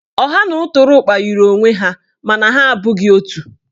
Ọha na ụtụrụkpa yiri onwe ha mana ha abụghị otu.